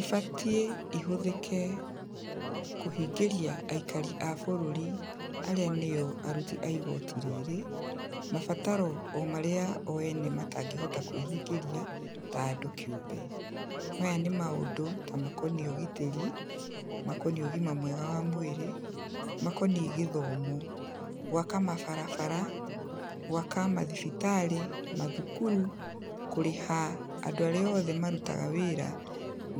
ibatiĩ ihũthĩke kũhingĩria aikari a bũrũri arĩa nĩo aruti a igooti rĩrĩ, mabataro omarĩa o ene matangĩhota kwĩhingĩria ta andũ kĩũmbe, maya nĩ maũndũ ta makoniĩ ũgitĩri, makoniĩ ũgima mwega wa mwĩrĩ, makoniĩ gĩthomo, gwaka mabarabara, gwaka mathibitarĩ, mathukuru, kũrĩha andũ arĩa oothe marutaga wĩra